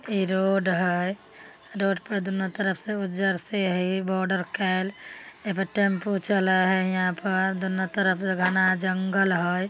इ रोड है रोड पे दूनो तरफ से उज्जर से हेय बॉर्डर कैल ए पे टेम्पू चलय हय हीया पर दोनो तरफ से घना जंगल हय।